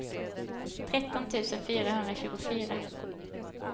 tretton tusen fyrahundratjugofyra